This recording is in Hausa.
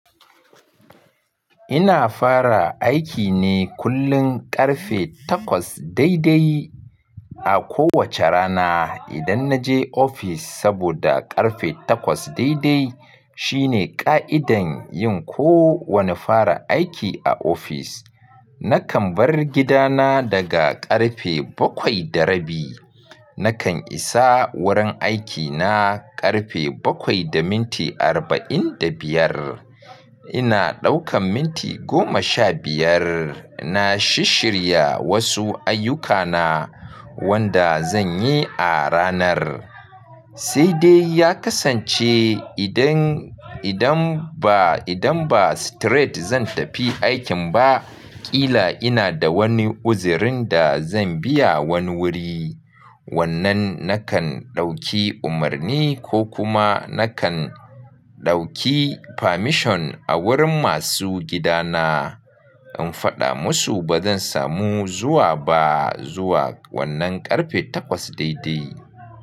Ina fara aiki ne kullum karfe takwas daidai a kowace rana idan na je ofis saboda karfe takwas daidai shine ƙa'idan yin kowane fara aiki a ofis. Nakan bar gidana daga karfe bakwai da rabi. Nakan isa wurin aikina karfe bakwai da minti arba'in da biyar. Ina ɗaukan minti goma sha biyar na shishirya wasu ayyukana wanda zan yi a ranar. Sai dai ya kasance idan, idan ba, idan ba straight zan tafi aikin ba, ƙila ina da wani uzirin da zan biya wani wuri. Wannan nakan ɗauki umarni ko kuma nakan ɗauki permission a wurin masu gidana in faɗa musu ba zan samu zuwa ba zuwa wannan karfe takwas daidai.